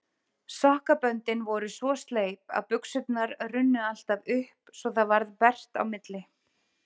Sokkaböndin voru svo sleip að buxurnar runnu alltaf upp svo það varð bert á milli.